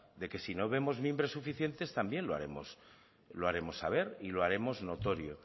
de que si no vemos mimbres suficientes también lo haremos saber y lo haremos notorio